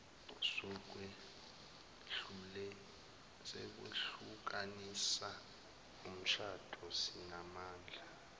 zokwehlukanisa umshado zinamandla